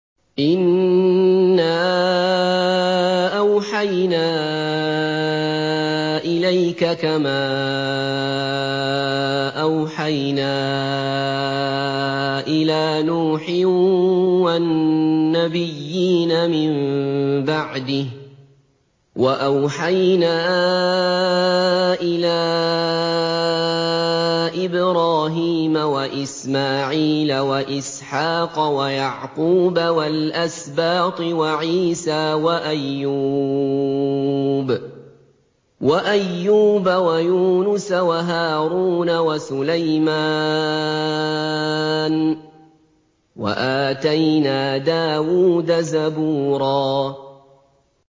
۞ إِنَّا أَوْحَيْنَا إِلَيْكَ كَمَا أَوْحَيْنَا إِلَىٰ نُوحٍ وَالنَّبِيِّينَ مِن بَعْدِهِ ۚ وَأَوْحَيْنَا إِلَىٰ إِبْرَاهِيمَ وَإِسْمَاعِيلَ وَإِسْحَاقَ وَيَعْقُوبَ وَالْأَسْبَاطِ وَعِيسَىٰ وَأَيُّوبَ وَيُونُسَ وَهَارُونَ وَسُلَيْمَانَ ۚ وَآتَيْنَا دَاوُودَ زَبُورًا